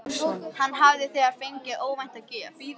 Hann hafði þegar fengið óvænta gjöf.